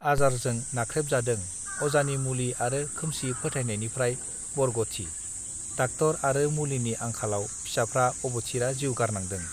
आजारजों नाख्रेब जादों अजानि मुलि आरो खोमसि फोथायनायनिफ्राई बरगथि डाक्टर आरो मुलिनि आंखालाव फिसाफ्रा अबथिरा जिउ गारनांदों